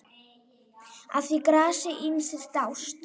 Að því grasi ýmsir dást.